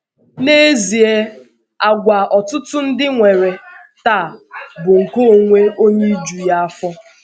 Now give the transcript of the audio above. N’ezie, àgwà ọtụtụ ndị nwere taa bụ nke onwe onye iju ya afọ.